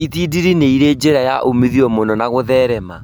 Itindiĩ nĩirĩ njĩra ya umithio mũno na gũtherema